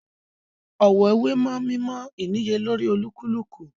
Ọ̀wọ̀ wé mọ́ mímọ ìníyelórí olúkúlùkù